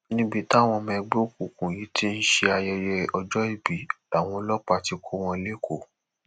níbi táwọn ọmọ ẹgbẹ òkùnkùn yìí ti ń ṣe ayẹyẹ ọjọòbí làwọn ọlọpàá ti kọ wọn lẹkọọ